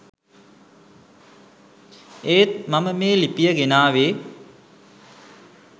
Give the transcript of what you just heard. ඒත් මම මේ ලිපිය ගෙනාවේ